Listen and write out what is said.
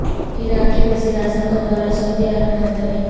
عراق کے وزیر اعظم کا دورہ سعودی عرب ملتوی